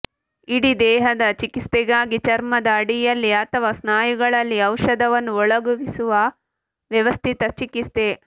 ಇಡೀ ದೇಹದ ಚಿಕಿತ್ಸೆಗಾಗಿ ಚರ್ಮದ ಅಡಿಯಲ್ಲಿ ಅಥವಾ ಸ್ನಾಯುಗಳಲ್ಲಿ ಔಷಧವನ್ನು ಒಳಹೊಗಿಸುವ ವ್ಯವಸ್ಥಿತ ಚಿಕಿತ್ಸೆ